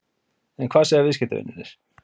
En hvað segja viðskiptavinirnir?